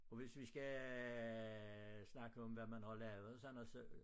Og hvis vi skal snakke om hvad man har lavet og sådan noget så